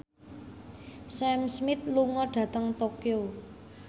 Sam Smith lunga dhateng Tokyo